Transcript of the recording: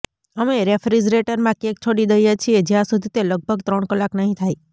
અમે રેફ્રિજરેટરમાં કેક છોડી દઈએ છીએ જ્યાં સુધી તે લગભગ ત્રણ કલાક નહી થાય